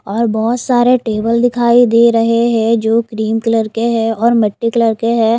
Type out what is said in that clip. और बहुत सारे टेबल दिखाई दे रहे हैं जो क्रीम कलर के हैंऔर मिट्टी कलर के हैं।